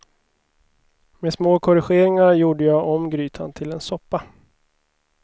Med små korrigeringar gjorde jag om grytan till en soppa.